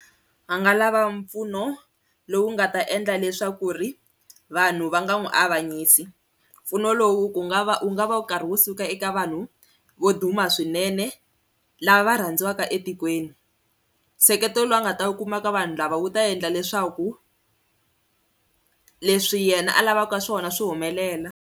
Va nga lava mpfuno lowu nga ta endla leswaku ri vanhu va nga n'wi avanyisi, mpfuno lowu ku nga va wu nga va wu karhi wu suka eka vanhu vo duma swinene lava va rhandziwaka etikweni, nseketelo lowu a nga ta kuma ka vanhu lava wu ta endla leswaku leswi yena a lavaka swona swi humelela.